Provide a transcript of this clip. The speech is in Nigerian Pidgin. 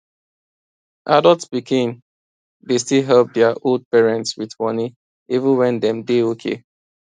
adult pikin dey still help dia old parents with money even when dem dey okay